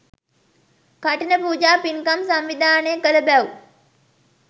කඨින පූජා පින්කම් සංවිධානය කළ බැව්